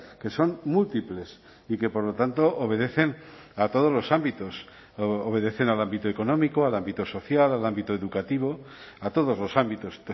que son múltiples y que por lo tanto obedecen a todos los ámbitos obedecen al ámbito económico al ámbito social al ámbito educativo a todos los ámbitos